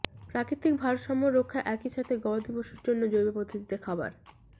প্রাকৃতিক ভারসাম্য রক্ষা একই সাথে গবাদি পশুর জন্য জৈব পদ্ধতিতে খাবার